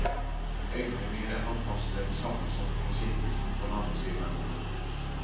Øynene mine hang fast ved den sammensunkne skikkelsen på den andre siden av bordet.